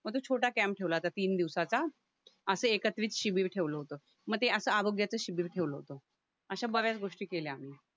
मग तो छोटा कॅम्प ठेवला होता तीन दिवसाचा असे एकत्रित शिबिर ठेवलं होते म ते असं आरोग्याचे शिबिर ठेवलं होतं अश्या बऱ्याच गोष्टी केल्या आम्ही